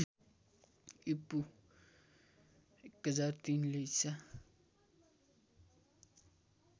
ईपू १००३ ले ईसा